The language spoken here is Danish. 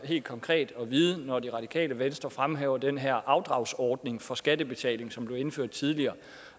helt konkret at vide om når det radikale venstre fremhæver den her afdragsordning for skattebetaling som blev indført tidligere